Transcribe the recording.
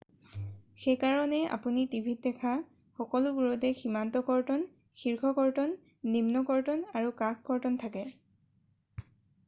সেইকাৰণেই আপুনি টিভিত দেখা সকলোবোৰতে সীমান্ত কৰ্তন শীৰ্ষ কৰ্তন, নিম্ন কৰ্তন আৰু কাষ কৰ্তন থাকে ।